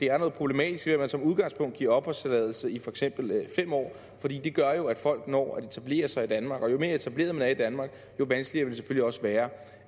er noget problematisk ved at man som udgangspunkt giver opholdstilladelse i for eksempel fem år for det gør jo at folk når at etablere sig i danmark og jo mere etableret man er i danmark jo vanskeligere vil det selvfølgelig også være